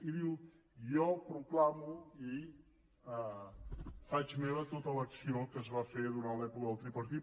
i diu jo proclamo i faig meva tota l’acció que es va fer durant l’època del tripartit